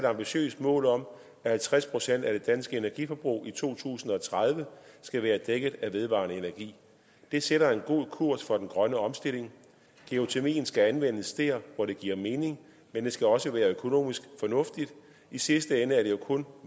ambitiøst mål om at halvtreds procent af det danske energiforbrug i to tusind og tredive skal være dækket af vedvarende energi det sætter en god kurs for den grønne omstilling geotermien skal anvendes dér hvor det giver mening men det skal også være økonomisk fornuftigt i sidste ende er der jo kun